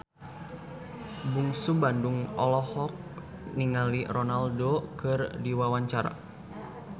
Bungsu Bandung olohok ningali Ronaldo keur diwawancara